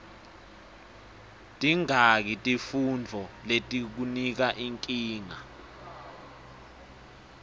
tingaki tifuntfo letikunika nkinga